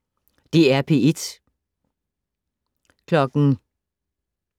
DR P1